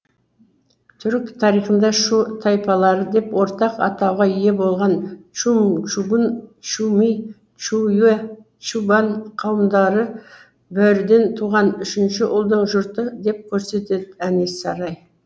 түрік тарихында шу тайпалары деп ортақ атауға ие болған чумчугунь чуми чуюе чубан қауымдары бөріден туған үшінші ұлдың жұрты деп көрсетеді әнес сарай